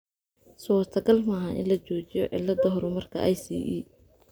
Suurtagal ma aha in la joojiyo cilada horumarka ICE .